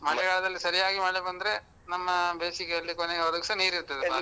ಮಳೆಗಾಲದಲ್ಲಿ ಸರಿಯಾಗಿ ಮಳೆ ಬಂದ್ರೆ, ನಮ್ಮ ಬೇಸಿಗೆ ಅಲ್ಲಿ ಕೊನೆವರೆಗೂಸ ನೀರಿರ್ತದೆ ಅಪ್ಪಾ.